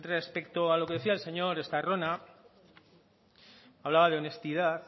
respecto a lo que decía el señor estarrona hablaba de honestidad